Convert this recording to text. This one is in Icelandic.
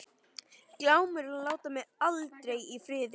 Glámur láta mig aldrei í friði.